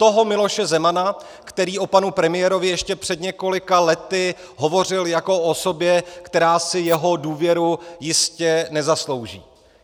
Toho Miloše Zemana, který o panu premiérovi ještě před několika lety hovořil jako o osobě, která si jeho důvěru jistě nezaslouží.